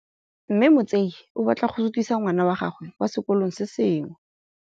Mme Motsei o batla go sutisa ngwana wa gagwe kwa sekolong se sengwe.